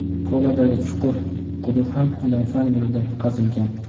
Koladagi chuqur quduq ham ilm-fan yo‘lida qazilgan.